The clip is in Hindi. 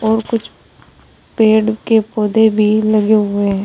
और कुछ पेड़ के पौधे भी लगे हुए हैं।